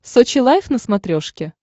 сочи лайф на смотрешке